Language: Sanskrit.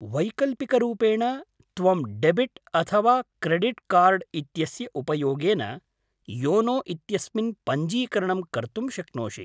वैकल्पिकरूपेण, त्वं डेबिट् अथवा क्रेडिट् कार्ड् इत्यस्य उपयोगेन योनो इत्यस्मिन् पञ्जीकरणं कर्तुं शक्नोषि।